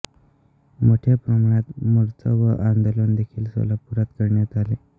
मोठ्या प्रमाणात मोर्चे व आंदोलन देखील सोलापूरात करण्यात आले